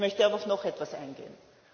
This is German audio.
Ich möchte aber auf noch etwas eingehen.